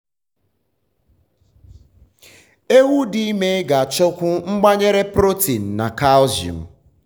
ewu dị ime ga achọkwu mgbanyere protein na calcium